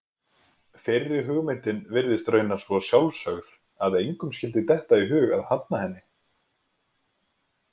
Fyrri hugmyndin virðist raunar svo sjálfsögð að engum skyldi detta í hug að hafna henni.